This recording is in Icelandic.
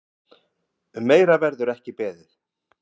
Um meira verður ekki beðið.